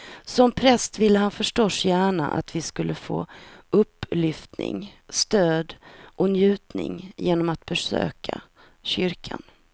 Som präst vill han förstås gärna att vi ska få upplyftning, stöd och njutning genom att besöka kyrkan.